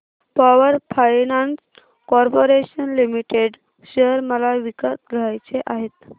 power finance corporation limited share मला विकत घ्यायचे आहेत